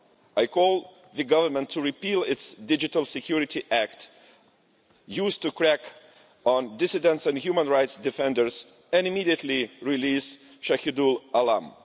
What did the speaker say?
I call the government to repeal its Digital Security Act used to crack down on dissidents and human rights defenders and immediately release Shahidul Alam.